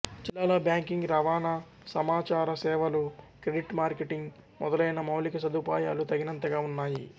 జిల్లాలో బ్యాంకింగ్ రవాణా సమాచారసేవలు క్రెడిట్ మార్కెటింగ్ మొదలైన మౌలిక సదుపాయాలు తగినంతగా ఉన్నాయి